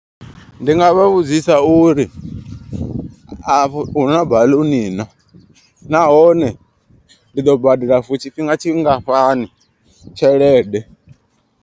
Ndi nga vha vhudzisa uri afho hu na baḽuni na. Nahone ndi ḓo badela for tshifhinga tshingafhani tshelede.